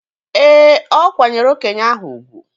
Ee, o kwanyeere okenye ahụ ugwu.